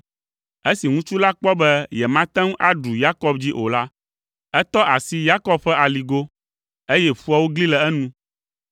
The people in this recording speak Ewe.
Esi ŋutsu la kpɔ be yemate ŋu aɖu Yakob dzi o la, etɔ asi Yakob ƒe aligo, eye ƒuawo gli le enu.